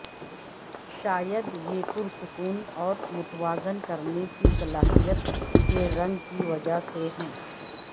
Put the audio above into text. شاید یہ پرسکون اور متوازن کرنے کی صلاحیت کے رنگ کی وجہ سے ہے